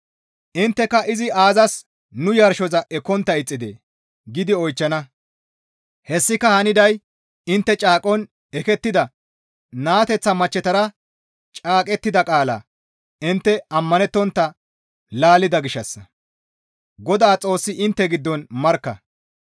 Intteka «Izi aazas nu yarshoza ekkontta ixxidee?» giidi oychchana; hessika haniday intte caaqon ekettida naateteththa machchetara caaqettida qaalaa intte ammanettontta laallida gishshassa; Godaa Xoossi intte giddon markka.